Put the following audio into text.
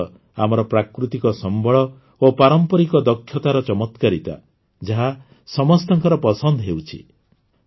ଏହା ହିଁ ତ ଆମର ପ୍ରାକୃତିକ ସମ୍ବଳ ଓ ପାରମ୍ପରିକ ଦକ୍ଷତାର ଚମତ୍କାରିତା ଯାହା ସମସ୍ତଙ୍କର ପସନ୍ଦ ହେଉଛି